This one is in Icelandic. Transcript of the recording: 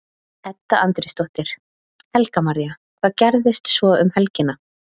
Edda Andrésdóttir: Helga María, hvað gerist svo um helgina?